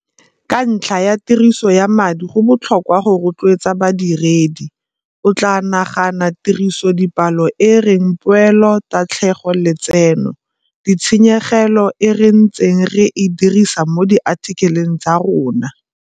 Ka ntlha ya tiriso ya madi go botlhokwa go rotloetsa badiredi. O tlaa nagana tirisodipalo e e reng Poelo Tatlhego Letseno - Ditshenyegelo, e re ntseng re e dirisa mo diathikeleng tsa rona.